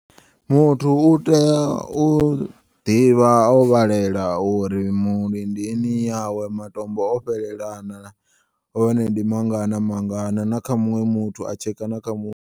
Muthu uteya u ḓivha o vhalela uri mulindini yawe matombo ofhelela hone ndimangana mangana na kha muṅwe muthu a tsheka nakha muṅwe.